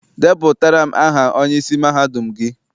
Depụtara m aha onyeisi mahadum gị!